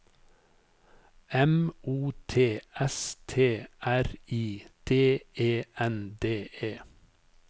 M O T S T R I D E N D E